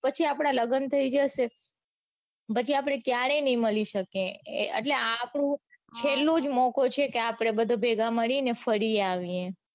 પછી આપડા લગન થઇ જશે. પછી આપડે ક્યારેય નઈ મળી શકીયે એટલે આ આપણું છેલો જ મોકો છે કે આપડે બધા ભેગા મળીને ફરી આવીયે.